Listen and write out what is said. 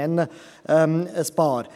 – Ich nenne einige.